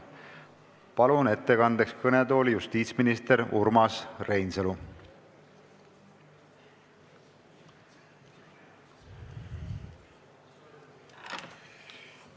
Palun ettekandeks kõnetooli justiitsminister Urmas Reinsalu!